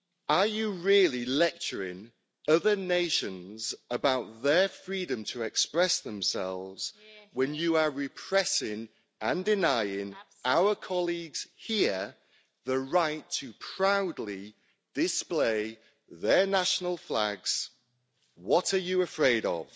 Are you really lecturing other nations about their freedom to express themselves, when you are repressing and denying our colleagues here the right to proudly display their national flags? What are you afraid of?